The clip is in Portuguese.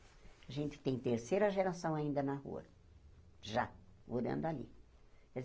A gente tem terceira geração ainda na rua, já, morando ali.